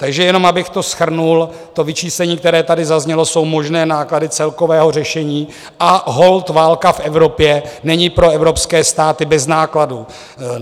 Takže jenom abych to shrnul, to vyčíslení, které tady zaznělo, jsou možné náklady celkového řešení, a holt válka v Evropě není pro evropské státy bez nákladů.